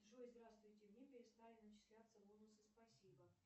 джой здравствуйте мне перестали начисляться бонусы спасибо